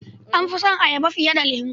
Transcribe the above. Na fi son ayaba fiye da lemo.